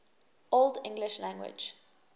old english language